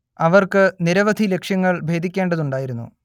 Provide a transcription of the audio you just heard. അവർക്ക് നിരവധി ലക്ഷ്യങ്ങൾ ഭേദിക്കേണ്ടതുണ്ടായിരുന്നു